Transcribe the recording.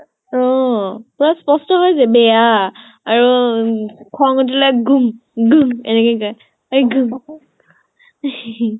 অহ plus স্পষ্ট হয় যে বেয়া। আৰু খং ওঠিলে গুম গুম একেনেকে কয়, এ গুম